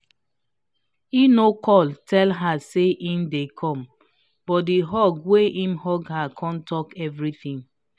him no call tell her say him dey come but the hug wey him hug her don talk everything